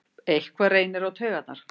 Eitthvað reynir á taugarnar